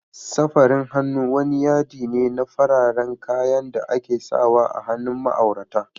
Safari hannu wani yaɗi ne na fararen kayan da ake sawa a hannun ma'aurata.